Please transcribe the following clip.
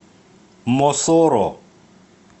мосоро